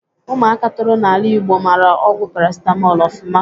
Ụmụaka toro n'ala Ịgbo mara ọgwụ parasitamọl ofụma